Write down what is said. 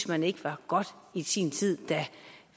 man ikke var godt i sin tid da